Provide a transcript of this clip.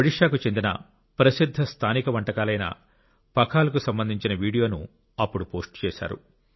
ఒడిషాకు చెందిన ప్రసిద్ధ స్థానిక వంటకాలైన పఖాల్ కు సంబంధించిన వీడియోను అప్పుడు పోస్ట్ చేశారు